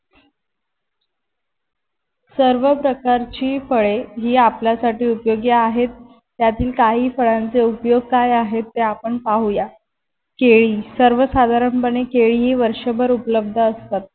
सर्व प्रकारची फळे ही आपल्यासाठी उपयोगी आहेत त्यातील काही फळांचे उपयोग की आहेत ते आपण पाहुयात केळी सर्वसाधारण पणे केळी ही वर्षभर उपलब्ध असतात.